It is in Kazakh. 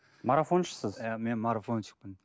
марафоншысыз иә мен марафонщикпін